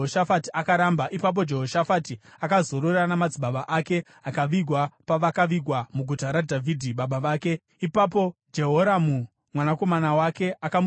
Ipapo Jehoshafati akazorora namadzibaba ake akavigwa pavakavigwa muguta raDhavhidhi baba vake. Ipapo Jehoramu mwanakomana wake akamutevera paumambo.